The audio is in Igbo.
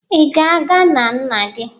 Ị na-aga na nna gị?